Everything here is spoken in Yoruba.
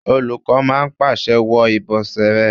Olùkọ́ náà pàṣẹ "wọ ìbọ̀sẹ̀ rẹ!"